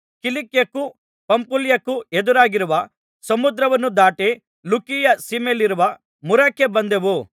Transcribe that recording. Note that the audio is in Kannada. ಕಿಲಿಕ್ಯಕ್ಕೂ ಪಂಫುಲ್ಯಕ್ಕೂ ಎದುರಾಗಿರುವ ಸಮುದ್ರವನ್ನು ದಾಟಿ ಲುಕೀಯ ಸೀಮೆಯಲ್ಲಿರುವ ಮುರಕ್ಕೆ ಬಂದೆವು